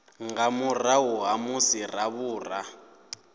nga murahu ha musi ravhura